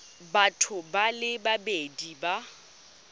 batho ba le babedi ba